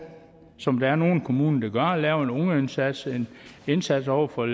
som der er nogle kommuner der gør at lave en ungeindsats en indsats over for